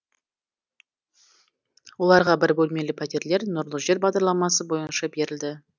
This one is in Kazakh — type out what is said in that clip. оларға бір бөлмелі пәтерлер нұрлы жер бағдарламасы бойынша берілді